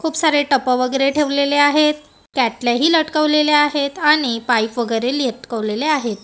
खूप सारे टप वगैरे ठेवलेले आहेत कॅटल्याही लटकवलेल्या आहेत आणि पाईप वगैरे लटकवलेले आहेत.